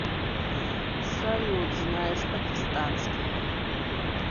салют знаешь пакистанский